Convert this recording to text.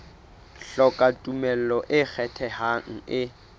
hloka tumello e ikgethang e